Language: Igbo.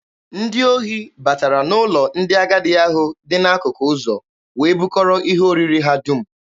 Ndị ohi batara n'ụlọ ndị agadi ahụ dị n'akụkụ ụzọ wee bukọrọ ihe oriri ha dum.